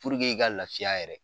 i ka lafiya yɛrɛ.